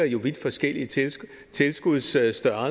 jo vidt forskellige tilskudsstørrelser